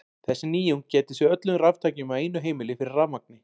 Þessi nýjung gæti séð öllum raftækjum á einu heimili fyrir rafmagni.